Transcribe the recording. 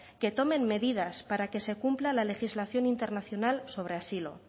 que tomen medidas para que se cumpla la legislación internacional sobre asilo